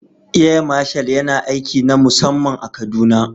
Air Marshal yana aiki na musamman a kaduna